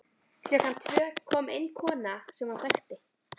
Klukkan tvö kom inn kona sem hann þekkti.